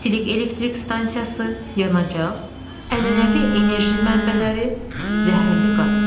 İstilik elektrik stansiyası, yanacaq, ənənəvi enerji mənbələri, zəhərli qaz.